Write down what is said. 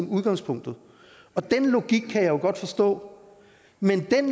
udgangspunktet og den logik kan jeg jo godt forstå men jeg